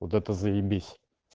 вот это заебись